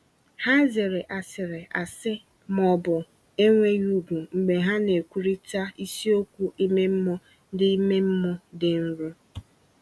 Ha zere asịrị asị ma ọ bụ enweghị ùgwù mgbe ha na-ekwurịta isiokwu ime mmụọ dị ime mmụọ dị nro.